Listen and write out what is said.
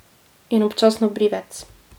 In občasno brivec.